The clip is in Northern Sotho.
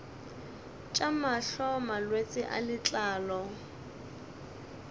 tša mahlo malwetse a letlalo